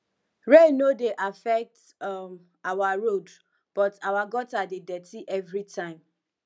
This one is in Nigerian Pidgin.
rain no dey affect um our road but our gutter dey dirty everytime